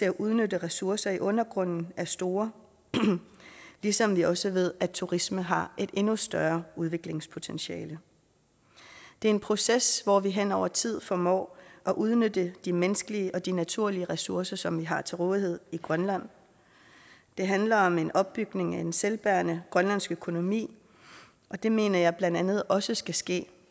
at udnytte ressourcer i undergrunden er store ligesom vi også ved at turisme har et endnu større udviklingspotentiale det er en proces hvor vi hen over tid formår at udnytte de menneskelige og de naturlige ressourcer som vi har til rådighed i grønland det handler om en opbygning af en selvbærende grønlandsk økonomi og det mener jeg blandt andet også skal ske